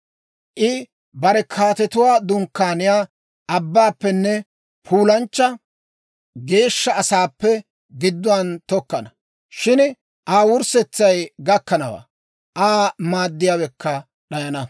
I bare kaatetuwaa dunkkaaniyaa abbaappenne puulanchcha geeshsha asaappe gidduwaan tokkana. Shin Aa wurssetsay gakkanawaa; Aa maaddiyaawekka d'ayana.